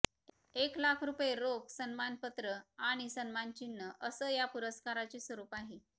एक लाख रुपये रोख सन्मानपत्र आणि सन्मानचिन्ह अस या पुरस्काराचे स्वरूप आहे